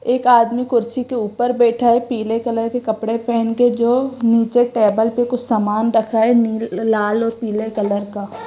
एक आदमी कुर्सी के ऊपर बैठा है पीले कलर के कपड़े पहन के जो नीचे टेबल पे कुछ सामान रखा है नी लाल और पीले कलर का।